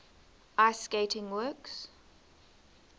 ice skating works